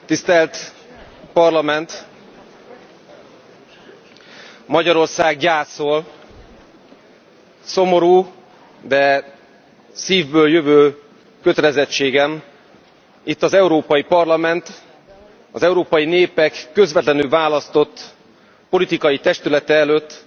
Elnök Úr, tisztelt Parlament, Magyarország gyászol. Szomorú, de szívből jövő kötelezettségem itt az Európai Parlament, az európai népek közvetlenül választott politikai testülete előtt